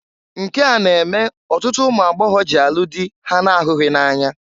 Nke a na-eme ọtụtụ ụmụagbọgọ jị alụ dị ha na-ahụghị na-anya.